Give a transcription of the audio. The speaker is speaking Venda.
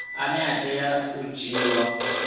ane a tea u dzhiiwa